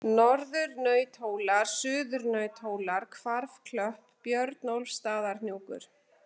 Norðurnauthólar, Suðurnauthólar, Hvarfklöpp, Björnólfsstaðahnjúkur